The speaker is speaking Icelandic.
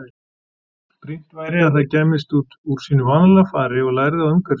Brýnt væri að það kæmist út úr sínu vanalega fari og lærði á umhverfi sitt.